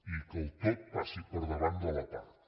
i que el tot passi per davant de la part